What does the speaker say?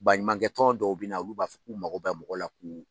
Baɲumakɛ tɔn dɔw bɛ na olu b'a fɔ k'u mako bɛ mɔgɔ la k'u.